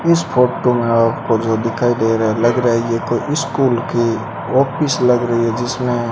इस फोटो मे आपको जो दिखाई दे रहा है लग रहा है ये कोई स्कूल की ऑफिस लग रही है जिसमे --